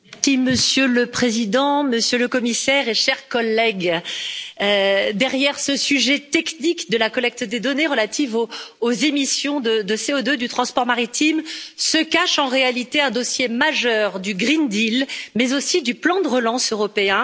Monsieur le Président, Monsieur le Commissaire, chers collègues, derrière ce sujet technique de la collecte des données relatives aux émissions de CO2 du transport maritime se cache en réalité un dossier majeur du pacte vert pour l'Europe, mais aussi du plan de relance européen.